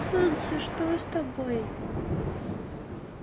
солнце что с тобой